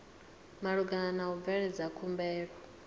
malugana na u bveledza khumbelo